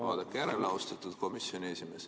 Vaadake järele, austatud komisjoni esimees.